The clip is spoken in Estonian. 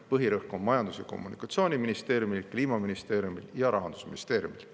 Põhirõhk on Majandus- ja Kommunikatsiooniministeeriumil, Kliimaministeeriumil ja Rahandusministeeriumil.